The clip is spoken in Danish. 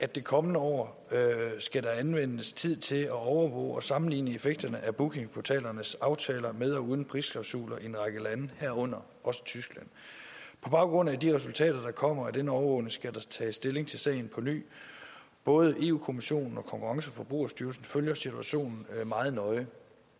det kommende år skal anvendes tid til at overvåge og sammenligne effekterne af bookingportalernes aftaler med og uden prisklausuler i en række lande herunder tyskland på baggrund af de resultater der kommer af denne overvågning skal der tages stilling til sagen på ny både europa kommissionen og konkurrence og forbrugerstyrelsen følger situationen meget nøje